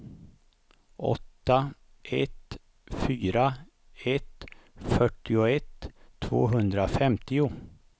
åtta ett fyra ett fyrtioett tvåhundrafemtio